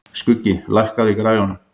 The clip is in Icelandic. Skuggi, lækkaðu í græjunum.